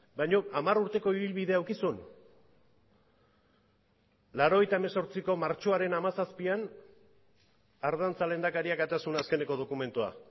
baino hamar urteko ibilbidea eduki zuen mila bederatziehun eta laurogeita zortziko martxoaren hamazazpian ardantza lehendakariak atera zuen azken dokumentua